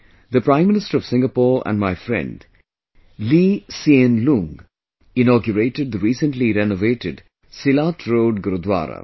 The Prime Minister of Singapore and my friend, Lee Hsien Loong inaugurated the recently renovated Silat Road Gurudwara